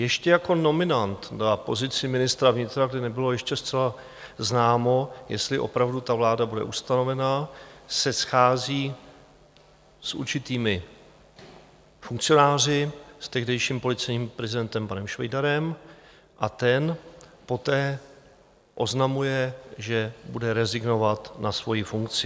Ještě jako nominant na pozici ministra vnitra, kdy nebylo ještě zcela známo, jestli opravdu ta vláda bude ustanovena, se schází s určitými funkcionáři, s tehdejším policejním prezidentem panem Švejdarem, a ten poté oznamuje, že bude rezignovat na svoji funkci.